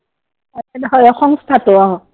হয়, সংস্থাটো অ।